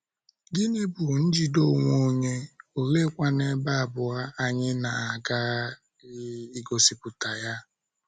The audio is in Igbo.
Gịnị bụ njide onwe onye?, oleekwanu ebe abụọ anyị na - aghaghị igosipụta ya?